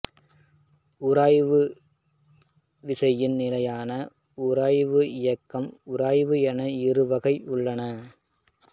உராய்வு விசையில் நிலையான உராய்வு இயக்க உராய்வு என இரு வகைகள் உள்ளன